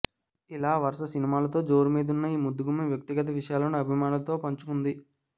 ఇలా వరుస సినిమాలతో జోరుమీదున్న ఈ ముద్దుగుమ్మ వ్యక్తిగత విషయాలను అభిమానులతో పంచుకుంది